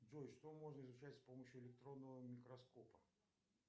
джой что можно изучать с помощью электронного микроскопа